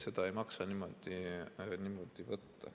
Seda ei maksa niimoodi võtta.